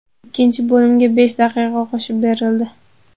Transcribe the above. Ikkinchi bo‘limga besh daqiqa qo‘shib berildi.